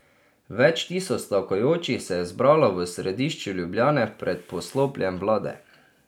Več tisoč stavkajočih se je zbralo v središču Ljubljane pred poslopjem vlade.